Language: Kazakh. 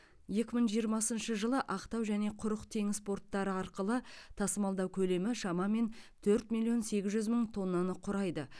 екі мың жиырмасыншы жылы ақтау және құрық теңіз порттары арқылы тасымалдау көлемі шамамен төрт миллион сегіз жүз мың тоннаны құрайды